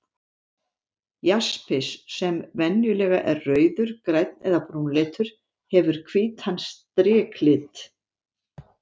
Jaspis, sem venjulega er rauður, grænn eða brúnleitur, hefur hvítan striklit.